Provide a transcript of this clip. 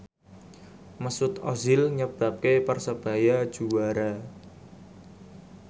Mesut Ozil nyebabke Persebaya juara